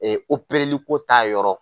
Ee liko ta yɔrɔ